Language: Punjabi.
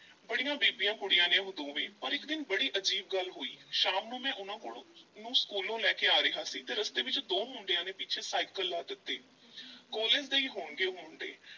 ਬੜੀਆਂ ਬੀਬੀਆਂ ਕੁੜੀਆਂ ਨੇ ਉਹ ਦੋਵੇਂ, ਪਰ ਇੱਕ ਦਿਨ ਬੜੀ ਅਜੀਬ ਗੱਲ ਹੋਈ, ਸ਼ਾਮ ਨੂੰ ਮੈਂ ਉਹਨਾਂ ਕੋਲੋਂ ਨੂੰ ਸਕੂਲੋਂ ਲੈ ਕੇ ਆ ਰਿਹਾ ਸੀ ਤੇ ਰਸਤੇ ਵਿੱਚ ਦੋ ਮੁੰਡਿਆਂ ਨੇ ਪਿੱਛੇ ਸਾਈਕਲ ਲਾ ਦਿੱਤੇ college ਦੇ ਹੀ ਹੋਣਗੇ ਉਹ ਮੁੰਡੇ।